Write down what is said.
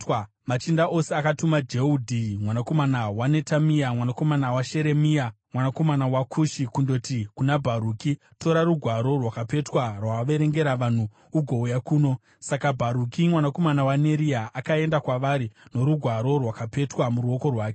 machinda ose akatuma Jehudhi mwanakomana waNetamia, mwanakomana waSheremia, mwanakomana waKushi, kundoti kuna Bharuki, “Tora rugwaro rwakapetwa rwawaverengera vanhu, ugouya kuno.” Saka Bharuki mwanakomana waNeria akaenda kwavari norugwaro rwakapetwa muruoko rwake.